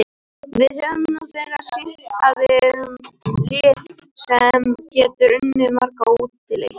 Við höfum nú þegar sýnt að við erum lið sem getur unnið marga útileiki.